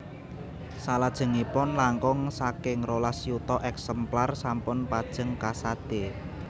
Salajengipun langkung saking rolas yuta èksemplar sampun pajeng kasadé